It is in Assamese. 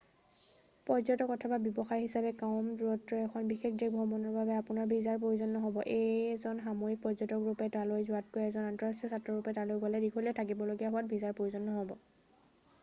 পৰ্যটক অথবা ব্যৱসায় হিচাপে কম দূৰত্বৰ এখন বিশেষ দেশ ভ্ৰমণৰ বাবে আপোনাৰ ভিছাৰ প্ৰয়োজন নহব এজন সাময়িক পৰ্যটক ৰূপে তালৈ যোৱাতকৈ এজন আন্তঃৰাষ্ট্ৰীয় ছাত্ৰ ৰূপে তালৈ গৈ দীঘলীয়াকৈ থাকিবলগীয়া হোৱাত ভিছাৰ প্ৰয়োজন নহব